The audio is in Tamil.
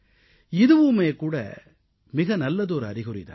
இதுவுமே கூட மிக நல்லதொரு அறிகுறி தான்